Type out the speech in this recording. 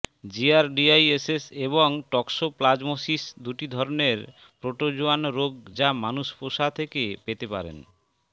জিয়ারডিআইএসস এবং টক্সোপ্লাজমোসিস দুটি ধরনের প্রোটোজোয়ান রোগ যা মানুষ পোষা থেকে পেতে পারেন